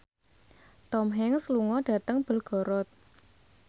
Tom Hanks lunga dhateng Belgorod